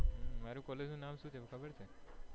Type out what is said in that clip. મારુ college નું નામ શું છે તને ખબર છે?